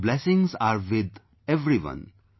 Your blessings are with everyone